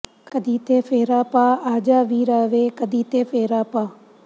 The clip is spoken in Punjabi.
ਕਦੀ ਤੇ ਫੇਰਾ ਪਾ ਆ ਜਾ ਵੀਰਾ ਵੇ ਕਦੀ ਤੇ ਫੇਰਾ ਪਾ